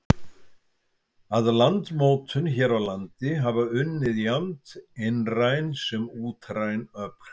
Að landmótun hér á landi hafa unnið jafnt innræn sem útræn öfl.